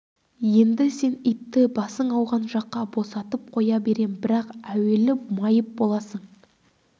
енді сен итті басың ауған жаққа босатып қоя берем бірақ әуелі майып боласың